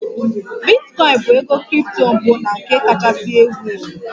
Bitcoin bụ ego kripto mbụ na nke kachasị ewu ewu